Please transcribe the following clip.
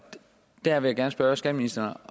jeg vil gerne spørge skatteministeren